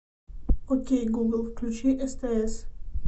окей гугл включи стс